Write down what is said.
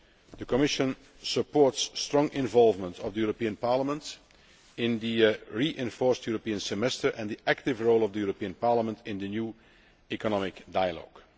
The Commission supports the strong involvement of the European Parliament in the reinforced European Semester and the active role of the European Parliament in the new economic dialogue.